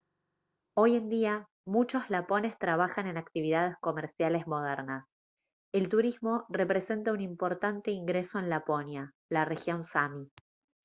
hoy en día muchos lapones trabajan en actividades comerciales modernas el turismo representa un importante ingreso en laponia la región sámi